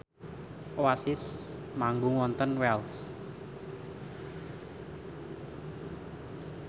Oasis manggung wonten Wells